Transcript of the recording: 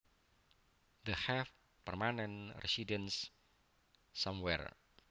To have permanent residence somewhere